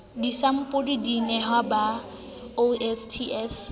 disampole di nehwa ba osts